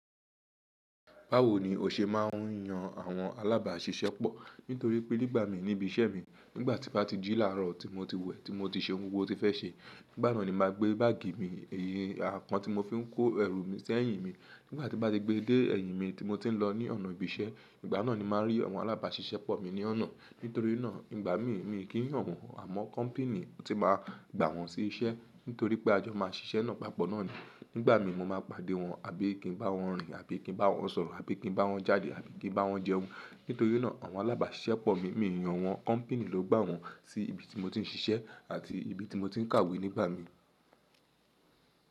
Báwo ni o ṣe máà ń yan àwọn alábàáṣiṣẹ́pọ̀? Nítorí pé nígbà mi níbi iṣẹ́ mi, nígbà tí n bá ti jí làárọ̀ tí mo ti wẹ, tí mo ti ṣe gbogbo ohun tí mo ti fẹ́ ṣe, nígbà náà ni mà á gbé báàgì mi, èyí ni àpọ́n tí mo fi ń kó ẹrù mi sẹ́yìn mi. Nígbà tín bá ti gbé dé ẹ̀yìn mi tí mo ti ń lọ ní ọ̀nà ibi iṣẹ́, ìgbà náà ni màá rí àwọn alábàáṣiṣẹ́pọ̀ mi ní ọ̀nà. Nítorí náà nígbà mi, mi kì í yàn wọ́n, àmọ́ company ti máa gbà wọ́n sí iṣẹ́. Nítorí pé a jọ máa ṣiṣẹ́ náà papọ̀ náà ni. Nígbà mi mo máa pàdé wọn àbí kí n bá wọn rìn àbí kí n bá wọn sọ̀rọ̀ àbí kí n bá wọn jáde àbí kí n bá wọn jẹun. Nítorí náà àwọn alábàáṣiṣẹ́pọ̀ mi, mi i yàn wọ́n. Company ló gbà wọ́n sí ibi tí mo ti ń ṣiṣẹ́ àti ibi tí mo ti ń kàwé nígbà mi.